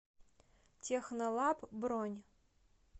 технолаб бронь